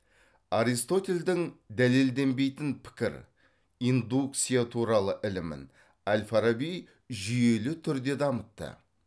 аристотельдің дәлелденбейтін пікір индукция туралы ілімін әл фараби жүйелі түрде дамытты